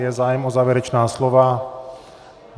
Je zájem o závěrečná slova?